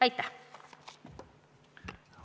Aitäh!